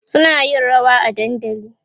suna yin rawa a dandali